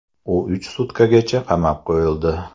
U uch sutkagacha qamab qo‘yildi.